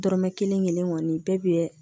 Dɔrɔmɛ kelen kelen kɔni bɛɛ bɛ